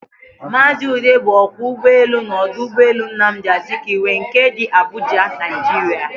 Maazi Ude bu okwo ugboelu na odu ugboelu Nnamdi Azikiwe nke di Abuja, Naijiria.